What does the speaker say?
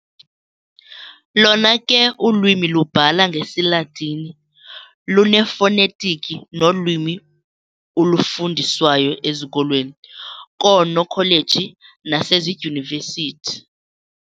Lona ke ulwimi lubhala ngesiLatini, lunefonetiki nolwimi ulufundiswayo ezikolweni, koonokholeji nasezidyunivesithi.